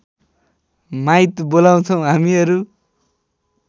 माइत बोलाउँछौ हामीहरू